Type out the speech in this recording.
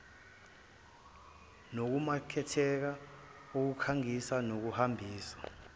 nokumaketha ukukhangisa nokuhambisa